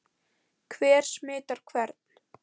Hver smitar hvern?